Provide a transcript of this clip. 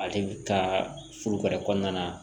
Ale ka furu ka kɔnɔna